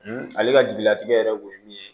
ale ka jigilatigɛ yɛrɛ kun ye min ye